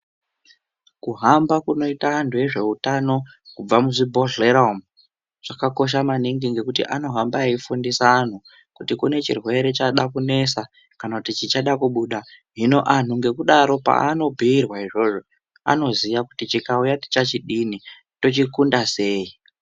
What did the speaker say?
Kuhamba kunoite antu ezveutano kubva muzvibhohleya umu kwakakosha maningi ngekuti ano hamba eifundisa anhu kuti kunechirwere chada kunesa kana chichada kubuda hino anhu ngekudaro paanobhuirwa izvo anoziya kuti chikauya tichachidini tochikunda sei